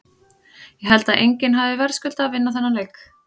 Ég held að enginn hafi verðskuldað að vinna þennan leik.